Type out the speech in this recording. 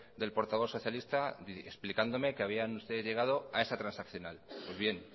del portavoz socialista explicándome que habían ustedes llegado a esa transaccional pues bien